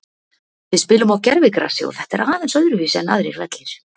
Við spilum á gervigrasi og þetta er aðeins öðruvísi en aðrir vellir.